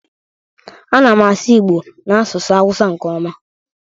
Ana m asu igbo na asusu hausa nke oma.